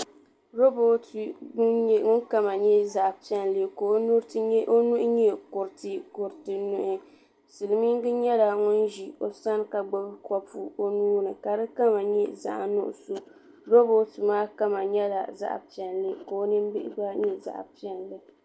Rooboti ŋun kama nyɛ zaɣ' piɛlli ka o nuhi nyɛ kuriti kuriti nuhi silimiinŋa nyɛla ŋun ʒi o sani ka gbubi kuriti o nuu ni ka di kama nyɛ zaɣ' nuɣisɔ rooboti maa kama nyɛla zaɣ' piɛlli ka o nim' bihi gba nyɛ zaɣ' piɛlli.